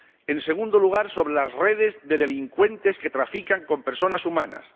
en segundo lugar, sobre las redes de delincuentes que trafican con personas humanas